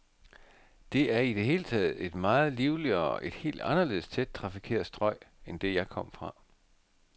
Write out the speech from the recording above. Det er i det hele taget et meget livligere, et helt anderledes tæt trafikeret strøg end det, jeg kom fra.